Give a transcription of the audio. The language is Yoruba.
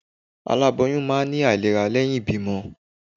alaboyum ma ni ailerá leyin ìbímo